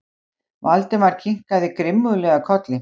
Valdimar kinkaði grimmúðlega kolli.